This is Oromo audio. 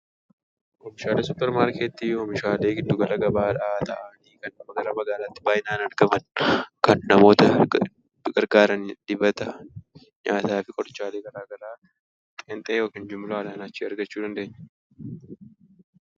Oomishaaleen suuppar maarkeetti oomishaalee giddugala gabaadhaa ta'anii, kan naannoo magaalaatti baay'inaan argaman, kan namoota gargaaranidha. Dibata, nyaataafi wantoota gara garaa qeenxeedhaan yookaan jumlaadhaan achitti argachuu dandeenya.